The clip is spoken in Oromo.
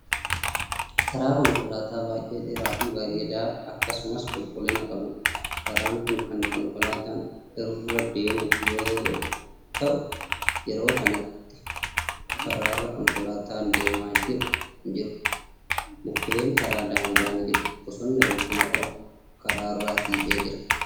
Karaa konkolaataa baay'ee dheeraafi bareedaa akkasumas qulqullina qabuudha. karaan Kuni Kan konkolaataan irra deemuuf yoo ta'u yeroo kanatti karaarra konkolaataan deemaa jiru hin jiru. mukkuunnkaraa daangaa ni jiru. bosonni rukkina qabu karaarra siqee Jira.